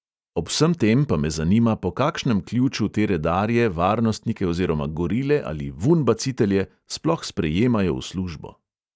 Ob vsem tem pa me zanima, po kakšnem ključu te redarje, varnostnike oziroma gorile ali "vunbacitelje" sploh sprejemajo v službo.